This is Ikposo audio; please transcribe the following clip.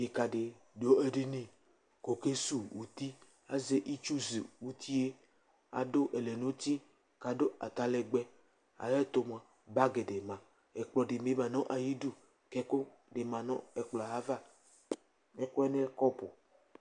Dekǝ dɩ dʋ edini kʋ ɔkesuwu uti Azɛ itsu suwu uti yɛ Adʋ ɛlɛnʋti, adʋ atalɛgbɛ Ayʋ ɛtʋ mʋa, bagɩ dɩ ma, ɛkplɔ dɩ bɩ ma nʋ ayidu kʋ ɛkʋ dɩ la nʋ ayava Ɛkʋ yɛ lɛ kɔpʋ